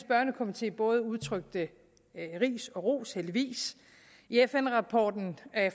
børnekomité både udtrykte ris og ros heldigvis i fn rapporten